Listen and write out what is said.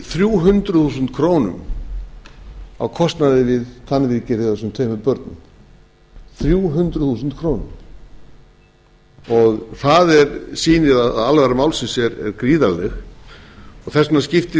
þrjú hundruð þúsund krónur á kostnaði við tannviðgerðir hjá þessum tveimur börnum þrjú hundruð þúsund krónur og það sýnir að alvara málsins er gríðarleg þess vegna skiptir auðvitað